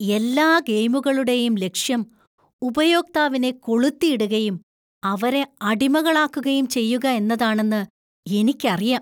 എല്ലാ ഗെയിമുകളുടെയും ലക്ഷ്യം ഉപയോക്താവിനെ കൊളുത്തിയിടുകയും ,അവരെ അടിമകളാക്കുകയും ചെയ്യുക എന്നതാണെന്ന് എനിക്കറിയാം.